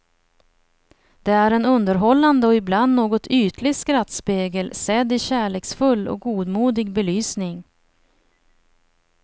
Det är en underhållande och ibland något ytlig skrattspegel, sedd i kärleksfull och godmodig belysning.